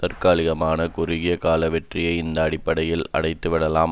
தற்காலிகமான குறுகிய கால வெற்றியை இந்த அடிப்படையில் அடைந்துவிடலாம்